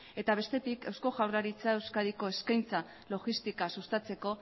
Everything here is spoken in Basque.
eta bestetik eusko jaurlaritzak euskadiko eskaintza logistika sustatzeko